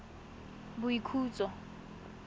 boikhutso